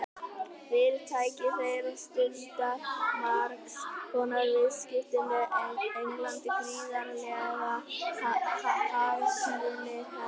Fyrirtæki þeirra stundar margs konar viðskipti við England, gríðarlegir hagsmunir, herra.